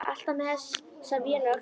Alltaf með þessa vél á öxlinni.